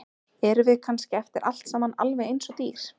Erum við kannski eftir allt saman alveg eins og dýr?